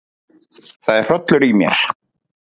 Það er hrollur í mér.